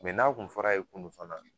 n'a tun fɔra a ye kunun fana